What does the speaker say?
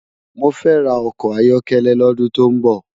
Mó fè rá òkò áyòkélé lòdún tó n bò